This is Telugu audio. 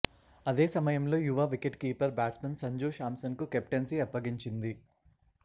అదే సమయంలో యువ వికెట్ కీపర్ బ్యాట్స్మన్ సంజూ శాంసన్కు కెప్టెన్సీ అప్పగించింది